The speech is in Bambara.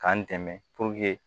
K'an dɛmɛ